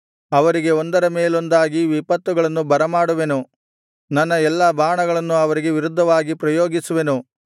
ಅವರಿಗೆ ಒಂದರ ಮೇಲೊಂದಾಗಿ ವಿಪತ್ತುಗಳನ್ನು ಬರಮಾಡುವೆನು ನನ್ನ ಎಲ್ಲಾ ಬಾಣಗಳನ್ನೂ ಅವರಿಗೆ ವಿರುದ್ಧವಾಗಿ ಪ್ರಯೋಗಿಸುವೆನು